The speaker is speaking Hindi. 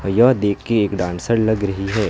यह देखिए एक डांसर लग रही है।